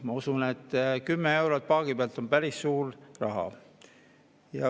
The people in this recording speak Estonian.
Mina usun, et 10 eurot paagi pealt on päris suur raha.